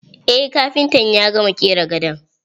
Eh kafintan ya gama ƙera gadon.